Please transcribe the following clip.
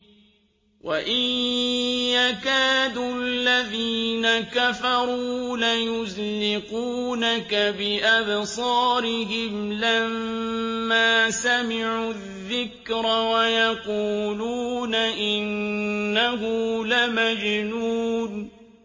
وَإِن يَكَادُ الَّذِينَ كَفَرُوا لَيُزْلِقُونَكَ بِأَبْصَارِهِمْ لَمَّا سَمِعُوا الذِّكْرَ وَيَقُولُونَ إِنَّهُ لَمَجْنُونٌ